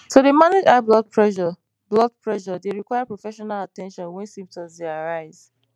to dey manage high blood pressure blood pressure dey require professional at ten tion wen symptoms dey arise